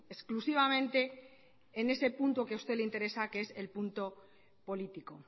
exclusivamente en ese punto que a usted le interesa que es el punto político